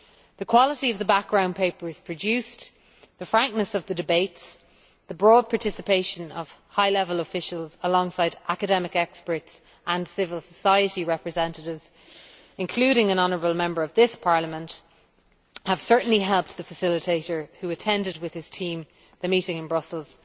The quality of the background papers produced, the frankness of the debates, the broad participation of high level officials alongside academic experts and civil society representatives, including an honourable Member of this Parliament, have certainly helped the facilitator, who attended, with his team, the meeting in Brussels